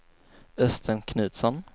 Östen Knutsson